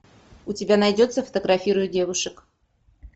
у тебя найдется фотографирую девушек